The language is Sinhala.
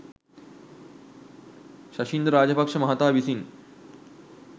ශෂීන්ද්‍ර රාජපක්‍ෂ මහතා විසින්